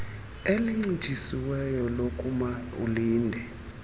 elincitshisiweyo lokuma ulinde